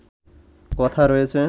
কথা রয়েছে